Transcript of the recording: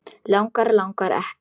Langar, langar ekki.